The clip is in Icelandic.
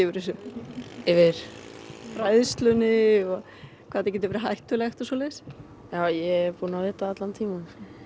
þessu yfir fræðslunni og hvað þetta getur verið hættulegt ég er búin að vita það allan tímann